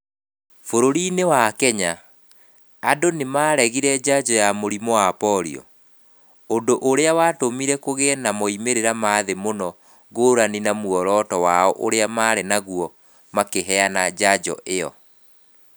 Bũrũri-inĩ wa Kenya, andũ nĩ maaregire njanjo ya mũrimũ wa porio, ũndũ ũrĩa watũmire kũgĩe na moimĩrĩro ma thĩĩ mũno ngurani na muoroto wao uria mari naguo makiheana njanjo ĩyo.